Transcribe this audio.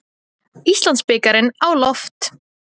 Íslandsbikarinn á lofti